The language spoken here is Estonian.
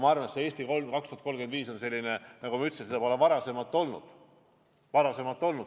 Aga "Eesti 2035" strateegia on selline dokument, mida, nagu ma ütlesin, pole varem olnud.